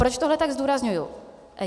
Proč tohle tak zdůrazňuji?